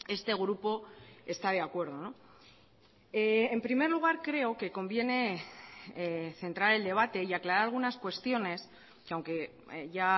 este grupo está de acuerdo en primer lugar creo que conviene centrar el debate y aclarar algunas cuestiones que aunque ya